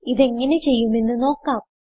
ഇതെങ്ങനെ ചെയ്യുമെന്ന് നോക്കാം